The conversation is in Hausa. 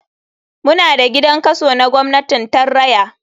Muna da gidan kaso na gwamnatin tarraya.